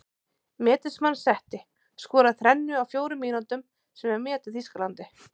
Metin sem hann setti:- Skoraði þrennu á fjórum mínútum sem er met í Þýskalandi.